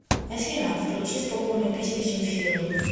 афина включи спокойную песню земфиры